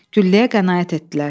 Gülləyə qənaət etdilər.